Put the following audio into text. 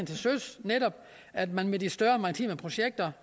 til søs netop at ved de større maritime projekter